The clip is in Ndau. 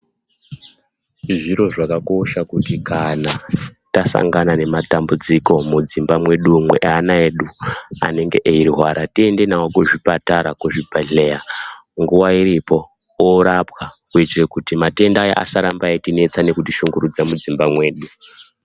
Zviro zvakakosha kuti kana tasangana nematambudziko mudzimba mwedu umu ana yedu anenge eyirwara tiyende nawo kuzvipatara, kuzvibhedhleya nguwa iripo, orapwa kuitire kuti mayenda asaramba etinetsa nekut ishungurudza mudzimba mwedu.